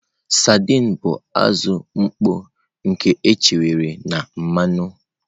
Sardines bụ azụ mkpọ nke echekwara na mmanụ.